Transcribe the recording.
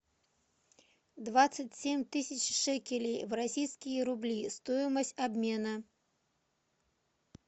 двадцать семь тысяч шекелей в российские рубли стоимость обмена